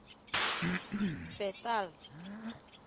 bethal